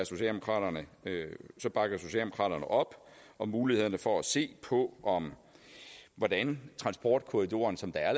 socialdemokraterne op om mulighederne for at se på hvordan transportkorridoren som der er